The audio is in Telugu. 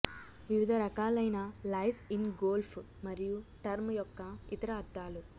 వివిధ రకాలైన లైస్ ఇన్ గోల్ఫ్ మరియు టర్మ్ యొక్క ఇతర అర్ధాలు